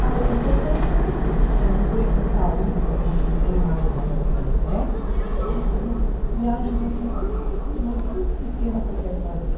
Ah, os meus sonhos são pequenos, são viver com saúde para curtir bem mais ainda os meus netos e umas viagens assim muito, mas muito pequenas que eu quero fazer.